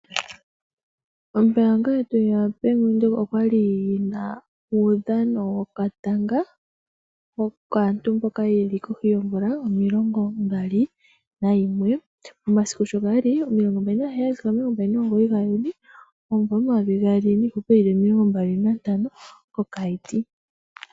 Ombaanga yetu yaBank Windhoek okwali yina uudhano wokatanga, kaantu mboka yeli kohi yoomvula omilongo mbali nayimwe, omasiku sho gali omilongo mbali naheyali, sigo omilongo mbali nomugoyi gaJuni, omumvo omayovi gaali niihupe yili omilongo mbali nantano.